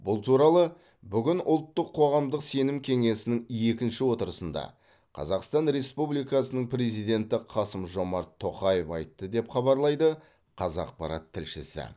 бұл туралы бүгін ұлттық қоғамдық сенім кеңесінің екінші отырысында қазақстан республикасының президенті қасым жомарт тоқаев айтты деп хабарлайды қазақпарат тілшісі